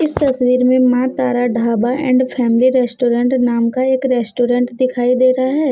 तस्वीर में Maa Tara dhaba and family restaurant नाम का एक रेस्टोरेंट दिखाई दे रहा है।